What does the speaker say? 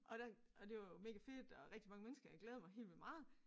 Og der og det var jo mega fedt og rigtig mange mennesker jeg glæder mig helt vildt meget